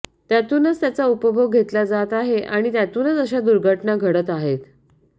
त्यातूनच त्याचा उपभोग घेतला जात आहे आणि त्यातूनच अशा दुर्घटना घडत आहेत